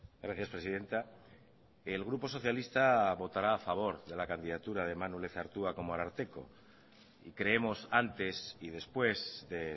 gracias presidenta el grupo socialista votará a favor de la candidatura de manu lezertua como ararteko y creemos antes y después de